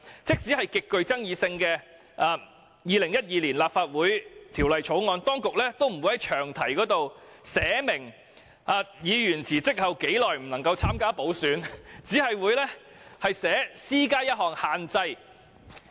即使是極具爭議性的《2012年立法會條例草案》，當局亦沒有在詳題中寫明議員在辭職後多久不可以參加補選，只訂明"施加一項限制"而已。